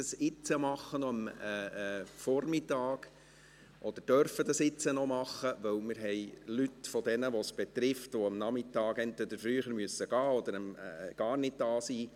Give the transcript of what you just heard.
Wir müssen oder dürfen dies noch am Vormittag machen, weil einige der Personen, die es betrifft, am Nachmittag entweder früher gehen müssen oder gar nicht da sind.